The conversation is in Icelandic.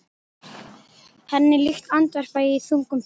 Henni líkt, andvarpa ég í þungum þönkum.